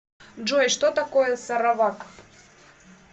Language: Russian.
джой что такое саравак